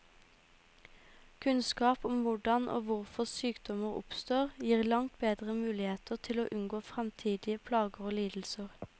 Kunnskap om hvordan og hvorfor sykdommer oppstår, gir langt bedre muligheter til å unngå fremtidige plager og lidelser.